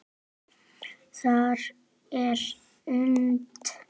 Það er unnt.